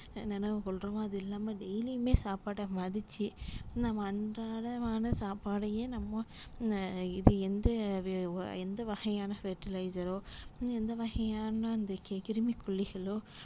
நெனைவுக்கொள்றோமோ அது இல்லாம daily மே சாப்பாட்ட மதிச்சு நம்ம அன்றாடமான சாப்பாட்டையே நம்ம இது எந்த எந்த வகையான fertilizer ரோ இல்ல எந்த வகையான அந்த கிருமிக்கொல்லிகளோ